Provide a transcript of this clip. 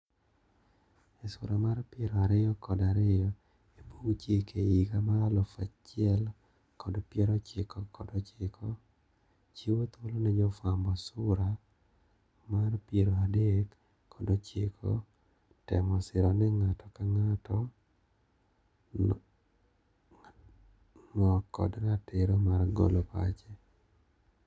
E sura mar piero ariyo kod ariyo ebug chike higa mar alufu achiel kod piero ochiko kod ochiko, chiwo thuolo ne jofwambo sura mar Piero adek kod ochiko temo siro ni ngato ka ngato no kod ratiro mar golo pache.